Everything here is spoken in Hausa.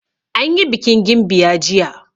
Anyi bikin gimbiya jiya.